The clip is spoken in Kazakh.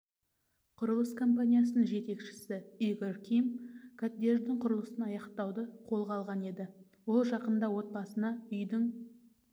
құрылыс компаниясының жетекшісі игорь ким коттедждің құрылысын аяқтауды қолына алған еді ол жақында отбасына үйдің